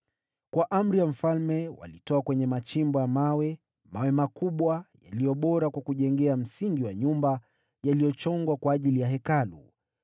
Kwa amri ya mfalme walitoa kwenye machimbo ya mawe, mawe makubwa, yaliyo bora kwa kujengea msingi wa nyumba yaliyochongwa kwa ajili ya Hekalu.